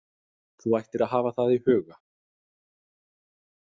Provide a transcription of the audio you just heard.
Þú ættir að hafa það í huga.